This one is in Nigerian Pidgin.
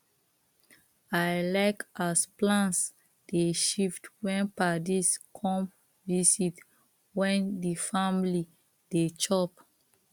i like as plans dey shift when padis come visit when the family dey chop